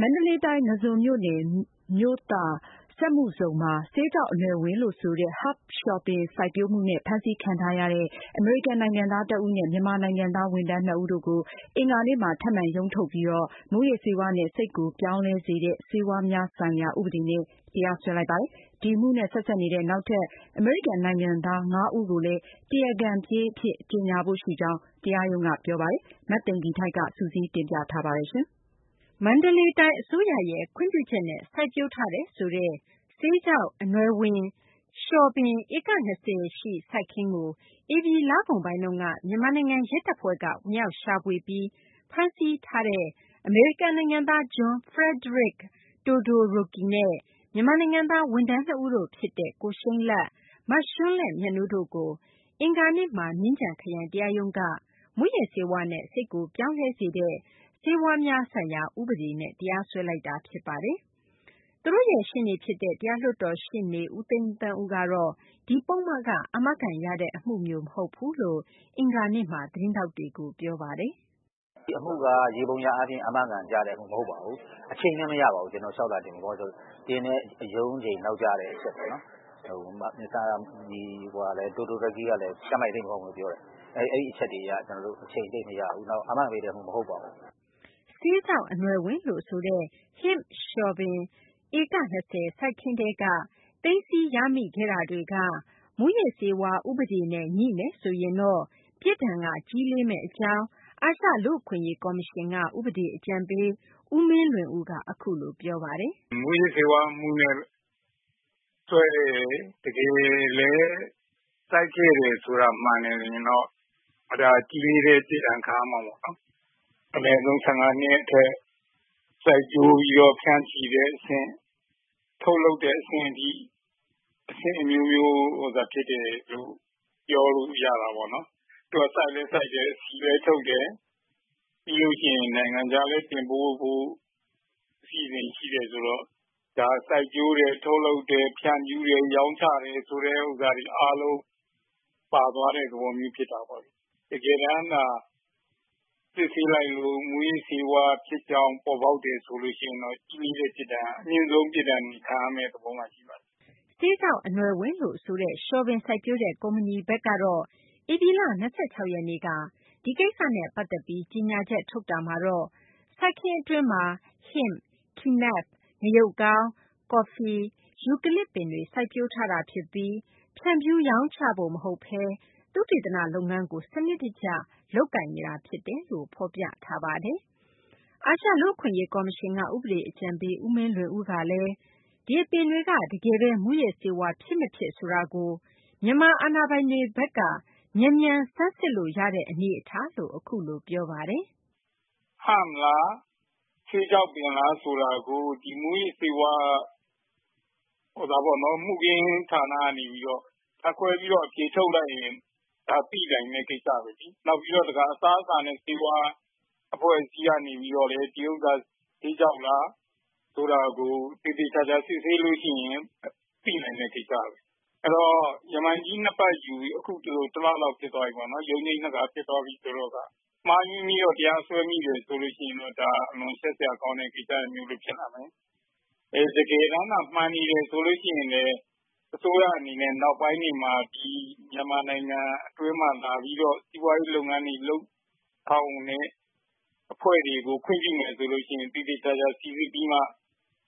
မန္တလေးတိုင်း ငါးဇွန်မြို့နယ် မြို့သာ စက်မှုဇုန်မှာ ဆေးခြောက်အနွယ်ဝင်လို့ ဆိုတဲ့ Hemp လျှော်ပင် စိုက်ပျိုးမှုနဲ့ ဖမ်းဆီးခံထားရတဲ့ အမေရိကန်နိုင်ငံသား တဦးနဲ့ မြန်မာနိုင်ငံသား ဝန်ထမ်း ၂ ဦးတို့ကို အင်္ဂါနေ့မှာ ထပ်မံရုံးထုတ်ပြီး မူးယစ်ဆေးဝါးနဲ့ စိတ်ကိုပြောင်းလဲစေတဲ့ ဆေးဝါးများဆိုင်ရာ ဥပဒေနဲ့ တရားစွဲလိုက်ပါတယ်။ ဒီအမှုနဲ့ ဆက်စပ်တဲ့ နောက်ထပ် အမေရိကန် နိုင်ငံသား ၅ ဦးကိုလည်း တရားခံပြေး အဖြစ် ကြေညာဖို့ ရှိကြောင်း တရားရုံးက ပြောပါတယ်။ မသိင်္ဂ ီထိုက် စုစည်းတင်ပြမှာပါ။ မန္တလေးတိုင်း အစိုးရရဲ့ ခွင့်ပြုချက်နဲ့ စိုက်ပျိုးထားတယ်ဆိုတဲ့ ဆေးခြောက် အနွယ်ဝင် လျှော်ပင် ဧက ၂၀ ရှိ စိုက်ခင်းကို ဧပြီလကုန်ပိုင်းက မြန်မာနိုင်ငံ ရဲတပ်ဖွဲ့က ဝင်ရောက် ရှာဖွေပြီး ဖမ်းဆီးထားသူ အမေရိကန် နိုင်ငံသား John Frederic Todoroki နဲ့ မြန်မာနိုင်ငံသား ဝန်ထမ်း နှစ်ဦးတို့ ဖြစ်တဲ့ ကိုရှိန်းလတ်၊ မရွှန်းလဲ့မြတ်နိုးတို့ကို အင်္ဂါနေ့မှာ မြင်းခြံခရိုင် တရားရုံးက မူးယစ်ဆေးဝါးနဲ့ စိတ်ကို ပြောင်းလဲစေတဲ့ ဆေးဝါးများဆိုင်ရာ ဥပဒေနဲ့ တရားစွဲလိုက်တာ ဖြစ်ပါတယ်။ သူတို့ရဲ့ ရှေ့နေ ဖြစ်တဲ့ တရားလွှတ်တော် ရှေ့နေ ဦးသိန်းသန်းဦးကတော့ ဒီပုဒ်မက အာမခံ ရတဲ့ အမှုမျိုး မဟုတ်ဘူးလို့ အင်္ဂါနေ့က သတင်းထောက်တွေကို ပြောဆိုခဲ့ပါတယ်။ “ဒီအမှုက ယေဘုယျအားဖြင့် အာမခံရတဲ့ အမှုမျိုးမဟုတ်ပါဘူး။ အချိန်လည်းမရပါဘူး။ ကျနော်တို့ လျောက်လွှာတင်ဖို့ ဘာဖြစ်လို့လဲဆိုတော့ တင်တဲ့ရုံးချိန်နောက်ကျတဲ့အချက်ပေါ့နော် Mr. Todoroki ကလည်း ကျန်းမာရေးသိပ်မကောင်းဘူးလို့ပြောတယ်။ အဲဒီအချက်တွေအရ ကျနော်တို့အချိန်သိပ်မရဘူး နောက် အာမခံပေးတဲ့ အမှုမဟုတ်ပါဘူး။” ဆေးခြောက် အနွယ်ဝင်လို့ ဆိုတဲ့ Hemp လျှော်ပင်တွေလို့ ဆိုတဲ့ ဧက ၂၀ စိုက်ခင်းထဲက သိမ်းဆည်းရမိခဲ့တာတွေက မူးယစ်ဆေးဝါး ဥပဒေနဲ့ ငြိမယ်ဆိုရင်တော့ ပြစ်ဒဏ်က ကြီးလေးမယ့် အကြောင်း အာရှလူ့အခွင့်အရေး ကော်မရှင်က ဥပဒေ အကြံပေး ဦးမင်းလွင်ဦးက အခုလို ပြောပါတယ်။ “မူးယစ်ဆေးဝါးအမှုနဲ့ စွဲတယ် တကယ်လည်း စိုက်ခဲ့တာ မှန်တယ်ဆိုရင်တော့ ဒါက ကြီးလေးတဲ့ပြစ်ဒဏ်ခံရမှာပေါ့နော်။ အနည်းဆုံး ၁၅ အထက် စိုက်ပျိုးပြီးတော့ ဖြန့်ချီ ထုတ်လုပ်တဲ့အဆင့်အထိ အဆင့်အမျိုးမျိုး ဖြစ်တယ်လို့ ပြောလိုရတာပေါ့နော်။ သူက စိုက်လည်းစိုက်တယ် အဆီလည်းထုတ်တယ်။ ပြီးလို့ရှိရင် နိုင်ငံခြားလည်း တင်ပို့ဖို့ အစီအစဉ်ရှိတယ်ဆိုတော့ ဒါက စိုက်ပျိုးတယ်၊ ထုတ်လုပ်တယ်၊ ဖြန့်ဖြူးတယ် ရောင်းချတယ် ဆိုတာတွေအားလုံးပါသွားတဲ့ သဘောမျိုးဖြစ်တာပေါ့နော်။ တကယ်တမ်း စစ်ဆေးလိုက်လို့ မူးယစ်ဆေးဝါး ဖြစ်ကြောင်းပေါ်ပေါက်တယ်ဆိုရင် ကြီးလေးတဲ့ပြစ်ဒဏ် အမြင့်ဆုံးပြစ်ဒဏ်ခံရမယ့် သဘောမှာ ရှိနေပါတယ်။” ဆေးခြောက်အနွယ်ဝင်လို့ ဆိုတဲ့ လျှော်ပင် စိုက်ပျိုးတဲ့ ကုမ္ပဏီဘက်ကတော့ ဧပြီလ ၂၆ ရက်နေ့က ဒီကိစ္စနဲ့ ပတ်သက်ပြီး ကြေညာချက် ထုတ်တာမှာတော့ စိုက်ခင်း အတွင်းမှာ Hemp၊ Kenaf ၊ ငရုတ်ကောင်း၊ ကော်ဖီ ၊ ယူကလစ်ပင်တွေ စိုက်ပျိုးထားတာ ဖြစ်ပြီး ဖြန့်ဖြူးရောင်းချဖို့ မဟုတ်ဘဲ သုတေသန လုပ်ငန်းကို စနစ်တကျ လုပ်နေတာ ဖြစ်တယ်လို့ ဖော်ပြထားပါတယ်။ အာရှလူ့အခွင့်အရေး ကော်မရှင်က ဥပဒေ အကြံပေး ဦးမင်းလွင်ဦးကလည်း ဒီအပင်တွေက တကယ်ဘဲ မူးယစ်ဆေးဝါးဖြစ်မဖြစ် ဆိုတာကို မြန်မာအာဏာပိုင်တွေဘက်က မြန်မြန် ဆန်းစစ်လို့ ရနေတဲ့ အနေအထားလို့ အခုလို ပြောပါတယ်။ “Hemp လား၊ ဆေးခြောက်ပင်လားဆိုတာကို မူးယစ်ဆေးဝါး မူခင်းဌာနကနေပြီးတော့ ဓါတ်ခွဲပြီးတော့ အဖြေထုတ်လိုက်ရင် သိနိုင်တဲ့ကိစ္စပဲလေ နောက်ပြီးတော့ တခါ အစားအစာနဲ့ ဆေးဝါးအဖွဲ့ ကနေပြီးတော့ ဒီဟာက ဆေးခြောက်လားဆိုတာကို သေသေချာချာစစ်ဆေးလို့ရှိရင် သိနိုင်တဲ့ကိစ္စပဲ၊ အဲဒီတော့ ရမန်ကြီး ၂ ပတ်လောက်ယူပြီးအခုက တလလောက်ဖြစ်သွားပြီပေါ့နော်။ ရုံးချိန်း ၂ ခါဖြစ်သွားပြီဆိုတော့ မှားယွင်းပြီးတော့ တရားစွဲမိတယ်ဆိုရင် ဒါက အလွန်ရှက်စရာကောင်းတဲ့ ကိစ္စမျိုးဖြစ်လာမယ်။ တကယ်တမ်း မှန်နေတယ်ဆိုရင်လည်း အစိုးရအနေနဲ့ နောက်ပိုင်းတွေမှာ ဒီမြန်မာနိုင်ငံအတွင်းမှာလာပြီးတော့ စီးပွားရေးလုပ်ငန်းတွေလုပ်ဆောင်တဲ့အဖွဲ့တွေကို ခွင့်ပြုမယ်ဆိုရင် သေသေချာချာစိစစ်ပြီးတော့မှ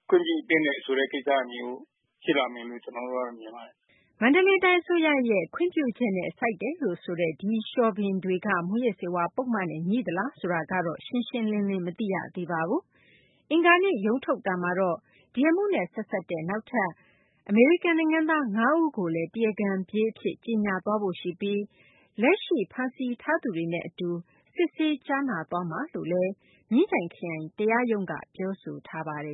ခွင့်ပြုသင့်တဲ့ကိစ္စရပ်မျိုးဖြစ်လာမယ်လို့ ကျနော်မြင်ပါတယ်။” မန္တလေးတိုင်း အစိုးရရဲ့ ခွင့်ပြုချက်နဲ့ စိုက်တယ်လို့ ဆိုတဲ့ ဒီလျှော်ပင်တွေက မူးယစ်ဆေးဝါး ပုဒ်မနဲ့ ငြိသလားဆိုတာကတော့ ရှင်းရှင်းလင်းလင်း မသိရသေးပါဘူး။ အင်္ဂါနေ့ ရုံးထုတ်မှာတော့ ဒီအမှုနဲ့ ဆက်စပ်တဲ့ နောက်ထပ် အမေရိကန် နိုင်ငံသား ၅ ဦးကိုလည်း တရားခံပြေး အဖြစ် ကြေညာသွားဖို့ ရှိပြီး လက်ရှိ ဖမ်းဆီးထားသူတွေနဲ့ အတူ စစ်ဆေးကြားနာသွားမယ်လို့ မြင်းခြံခရိုင်တရားရုံးက ပြောဆိုထားပါတယ်